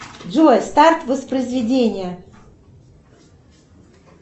джой старт воспроизведения